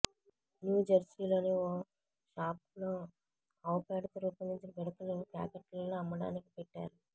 న్యూజెర్సీలోని ఓ షాప్ లో అవు పేడతో రూపొందించిన పిడకలు ప్యాకెట్లలో అమ్మకానికి పెట్టారు